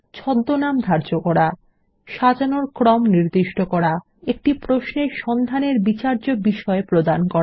ছদ্মনাম ধার্য করা সাজানোর ক্রম নির্দিষ্ট করা একটি প্রশ্নে সন্ধানের বিচার্য বিষয় প্রদান করা